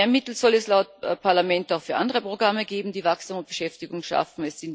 Mehr Mittel soll es laut Parlament auch für andere Programme geben, die Wachstum und Beschäftigung schaffen.